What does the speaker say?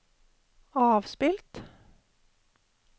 avspilt